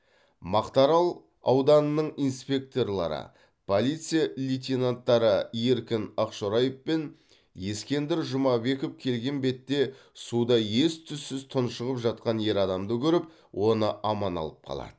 мақтаарал ауданының инспекторлары полиция лейтенанттары еркін ақшораев пен ескендір жұмабеков келген бетте суда ес түссіз тұншығып жатқан ер адамды көріп оны аман алып қалады